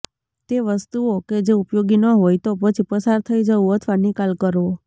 તે વસ્તુઓ કે જે ઉપયોગી ન હોય તો પછી પસાર થઈ જવું અથવા નિકાલ કરવો